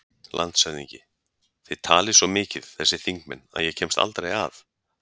LANDSHÖFÐINGI: Þið talið svo mikið, þessir þingmenn, að ég kemst aldrei að.